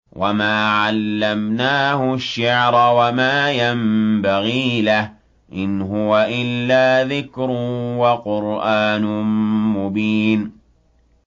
وَمَا عَلَّمْنَاهُ الشِّعْرَ وَمَا يَنبَغِي لَهُ ۚ إِنْ هُوَ إِلَّا ذِكْرٌ وَقُرْآنٌ مُّبِينٌ